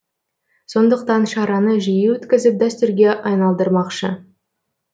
сондықтан шараны жиі өткізіп дәстүрге айналдырмақшы